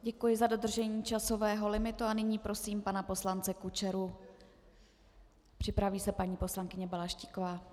Děkuji za dodržení časového limitu a nyní prosím pana poslance Kučeru, připraví se paní poslankyně Balaštíková.